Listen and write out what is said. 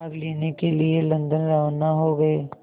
भाग लेने के लिए लंदन रवाना हो गए